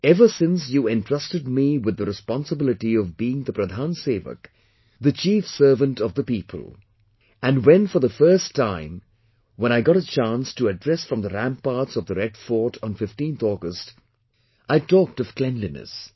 Ever since you entrusted me with the responsibility of being the Pradhan Sewak the Chief Servant of the people and when for the first time when I got a chance to address from the ramparts of Red Fort on 15th August, I had talked of cleanliness